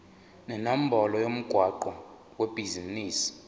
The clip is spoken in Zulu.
nenombolo yomgwaqo webhizinisi